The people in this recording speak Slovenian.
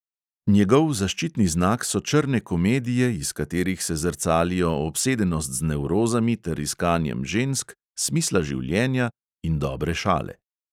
Njegov zaščitni znak so črne komedije, iz katerih se zrcalijo obsedenost z nevrozami ter iskanjem žensk, smisla življenja in dobre šale.